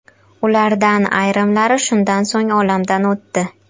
Ulardan ayrimlari shundan so‘ng olamdan o‘tdi.